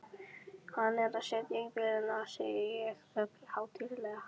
Hann er að setja í vélina, segi ég ögn hátíðlega.